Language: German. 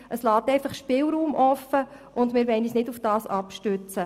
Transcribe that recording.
Es wird Spielraum offen gelassen, und wir wollen uns nicht darauf abstützen.